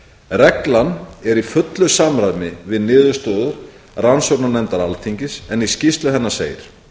reglan er í fullu samræmi við niðurstöður rannsóknarnefndar alþingis en í skýrslu hennar segir